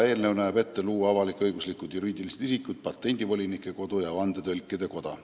Eelnõu näeb ette luua avalik-õiguslikud juriidilised isikud patendivolinike koda ja vandetõlkide koda.